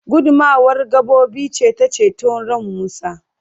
gudummawar gabobi ce ta ceto ran Musa